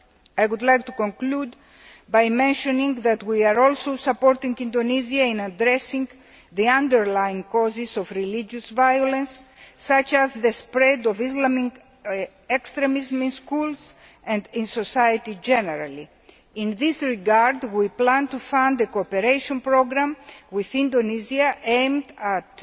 I would like to conclude by mentioning that we are also supporting Indonesia in addressing the underlying causes of religious violence, such as the spread of Islamic extremism in schools and in society generally. In this regard, we plan to fund a cooperation programme with Indonesia aimed